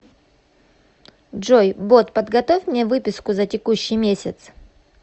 джой бот подготовь мне выписку за текущий месяц